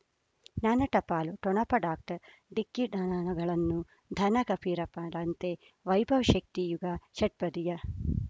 ಜ್ಞಾನ ಟಪಾಲು ಠೊಣಪ ಡಾಕ್ಟರ್ ಢಿಕ್ಕಿ ಣನಗಳನು ಧನ ಫಕೀರಪ್ಪ ಳಂತೆ ವೈಭವ್ ಶಕ್ತಿ ಯುಗಾ ಷಟ್ಪದಿಯ